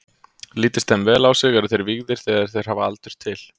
Lítist þeim vel á sig, eru þeir vígðir þegar þeir hafa aldur til.